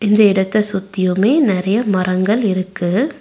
இந்த இடத்த சுத்தியுமே நறைய மரங்கள் இருக்கு.